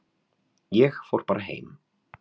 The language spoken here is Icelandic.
Ég fór bara heim.